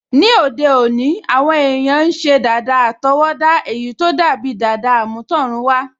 Ní òde òní, àwọn èèyàn n ṣe dàda àtọwọ́dá èyí tó dàbi dàda àmútọ̀runwá